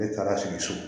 Ne taara sigi so